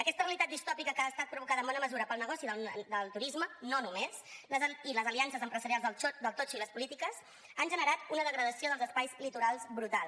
aquesta realitat distòpica que ha estat provocada en bona mesura pel negoci del turisme no només i les aliances empresarials del totxo i les polítiques han generat una degradació dels espais litorals brutal